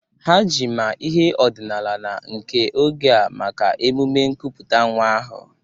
Ha ji ma ihe ọdịnala na nke oge a maka emume nkuputa nwa ahu.